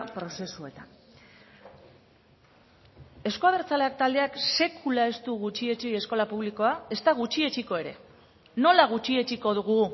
prozesuetan euzko abertzaleak taldeak sekula ez du gutxietsi eskola publikoa ezta gutxietsiko ere nola gutxietsiko dugu